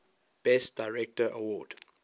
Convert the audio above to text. best director award